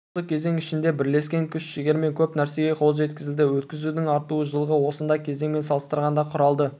осы кезең ішінде бірлескен күш-жігермен көп нәрсеге қол жеткізілді өткізудің артуы жылғы осындай кезеңмен салыстырғанда құрады